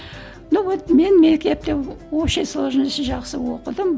ну вот мен мектепке общий сложности жақсы оқыдым